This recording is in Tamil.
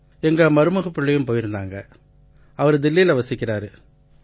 எங்க மருமகப்பிள்ளையும் போயிருந்தாரு அவரு தில்லியில வசிக்கறாரு